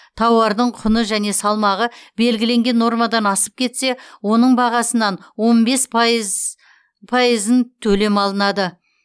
тауардың құны және салмағы белгіленген нормадан асып кетсе оның бағасынан он бес пайызын төлем алынады